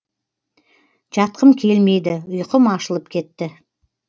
жатқым келмейді ұйқым ашылып кетті